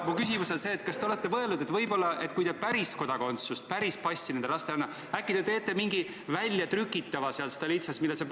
Aga mu küsimus on see: kas te olete mõelnud, et kui te päris kodakondsust, päris passi nendele lastele ei anna, siis äkki te teete mingi väljatrüki sealt Stolitsast?